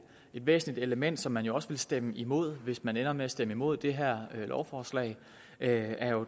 et væsentligt element som man jo også vil stemme imod hvis man ender med at stemme imod det her lovforslag er jo